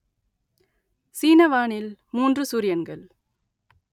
சீன வானில் மூன்று சூரியன்கள்